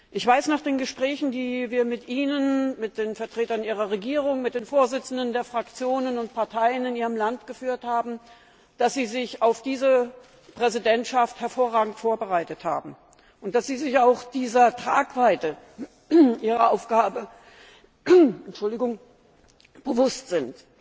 Ich weiß nach den Gesprächen, die wir mit Ihnen, mit den Vertretern Ihrer Regierung, mit den Vorsitzenden der Fraktionen und Parteien in Ihrem Land geführt haben, dass Sie sich auf die Präsidentschaft hervorragend vorbereitet haben, und dass Sie sich auch dieser Tragweite Ihrer Aufgabe bewusst sind.